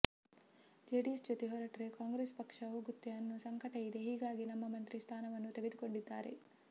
JDS ಜೊತೆ ಹೊರಟ್ರೆ ಕಾಂಗ್ರೆಸ್ ಪಕ್ಷ ಹೋಗುತ್ತೆ ಅನ್ನೋ ಸಂಕಟ ಇದೆ ಹೀಗಾಗಿ ನಮ್ಮ ಮಂತ್ರಿ ಸ್ಥಾನವನ್ನೂ ತೆಗೆದ್ಕೊಂಡಿದ್ದಾರೆ